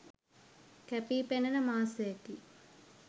කැපී පෙනෙන මාසයකි